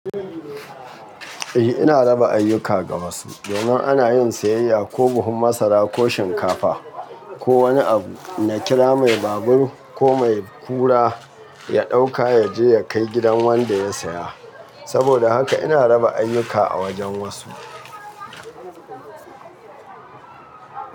Eh ina raba ayyuka ga wasu. Domin ana yin siyayya ko buhun masara ko shinkafa ko wani abu, na kira mai babur ko mai kura ya ɗauka ya je ya kai gidan wanda ya saya. Saboda haka ina raba ayuka a wajen wasu.